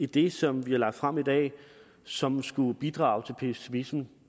det som vi har lagt frem i dag som skulle bidrage til pessimismen